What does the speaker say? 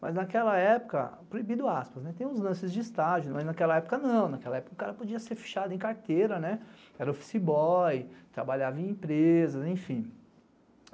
mas naquela época, proibido aspas, tem uns lances de estágio, mas naquela época não, naquela época o cara podia ser fechado em carteira, era office boy, trabalhava em empresas, enfim.